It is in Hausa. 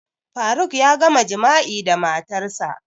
Faruk ya gama jima'i da matarsa